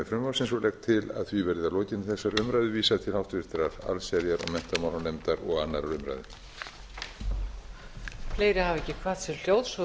frumvarpsins og legg til að því verði að lokinni þessari umræðu vísað til háttvirtrar allsherjar og menntamálanefndar og annarrar umræðu